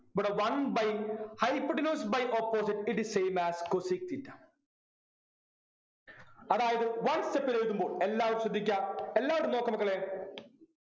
ഇവ്ട one by hypotenuse by opposite it is same as cosec theta അതായത് one step ൽ എഴുതുമ്പോൾ എല്ലാവരും ശ്രദ്ധിക്ക എല്ലാവരും നോക്ക് മക്കളെ